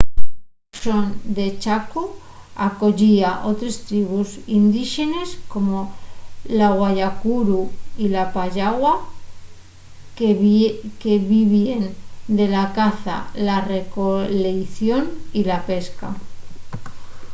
la rexón de chaco acoyía otres tribus indíxenes como la guaycurú y la payaguá que vivíen de la caza la recoleición y la pesca